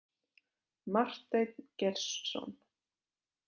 Marteinn Geirsson.